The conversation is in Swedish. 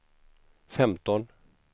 femton